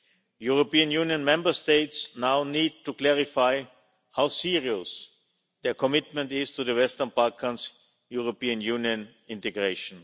European Union Member States now need to clarify how serious their commitment is to the Western Balkans' European Union integration.